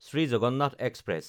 Shri Jagannath express